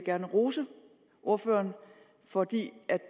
jeg rose ordføreren fordi